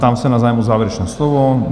Ptám se na zájem o závěrečné slovo?